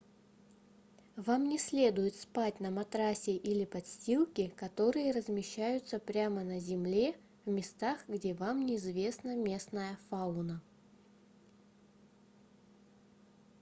вам не следует спать на матраце или подстилке которые размещаются прямо на земле в местах где вам не известна местная фауна